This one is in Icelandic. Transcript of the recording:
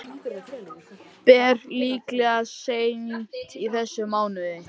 Ber líklega seint í þessum mánuði.